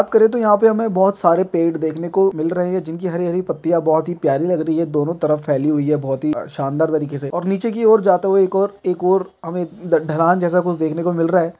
बात करे तो यहाँ पे हमें बोहोत सारे पेड़ देखने को मिल रहें है जिनकी हरी-हरी पत्तियां बोहोत ही प्यारी लग रही है दोनों तरफ फैली हुई है बोहोत ही शानदार तरीके से और नीचे की ओर जाता हुआ एक और एक और हमे द ढलान जैसा कुछ देखने को मिल रहा है।